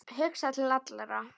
Hugsa til allra.